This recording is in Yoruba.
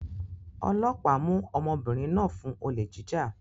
Ọlọ́pàá mú ọmọbìnrin náà fún olè jíjà